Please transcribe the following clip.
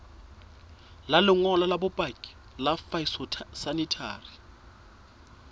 lengolo la bopaki la phytosanitary